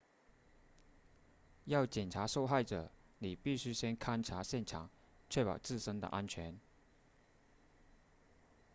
要检查受害者你必须先勘察现场确保自身的安全